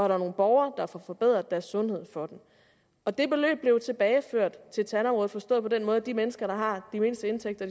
er nogle borgere der får forbedret deres sundhed for dem og beløbet blev tilbageført til tandområdet forstået på den måde at de mennesker der har de mindste indtægter